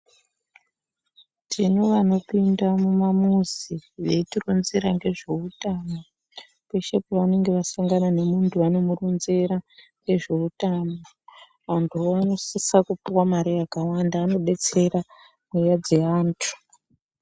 Tine vanopinda mumamizi veitironzera ngezveutano. Peshe pavanonga vasangana nemunhu vanomuronzera ngezveutano. Antuwo anosisa kupuwa mare yakakwana ,anodetsera mweya dzeantu.